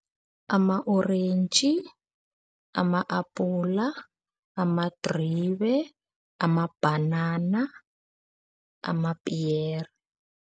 Ama-orentji, ama-apula, amadribe, amabhanana, amapiyere.